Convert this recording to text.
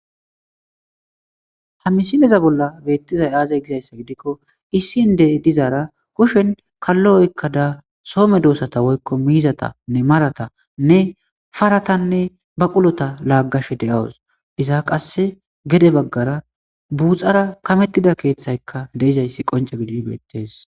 hamisineza bolla beettizay aazay gizayssa gidikko issinde dizaara kushen kallo oykkada soome doossata woykko miizatanne maratanne paratanne ba qulota laaggashe de7awus iza qasse gede baggara buuxara kamettida keeththaykka deizayssi qonca gidi beettes